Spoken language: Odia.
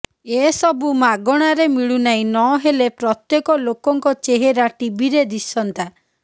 ଏ ସବୁ ମାଗଣାରେ ମିଳୁନାହିଁ ନହେଲେ ପ୍ରତ୍ୟେକ ଲୋକଙ୍କ ଚେହେରା ଟିଭିରେ ଦିଶନ୍ତା